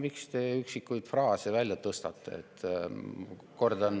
Miks te üksikuid fraase välja tõstate?